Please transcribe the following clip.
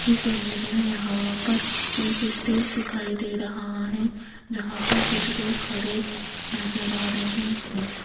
इस इमेज में यहां पर एक स्टेज दिखाई दे रहा है जहां पर कुछ लोग खड़े नजर आ रहे हैं।